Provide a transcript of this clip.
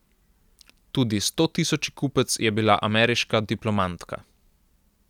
Tudi stotisoči kupec je bila ameriška diplomantka.